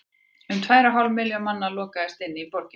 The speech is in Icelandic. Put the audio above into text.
um tvær og hálf milljón manna lokaðist inni í borginni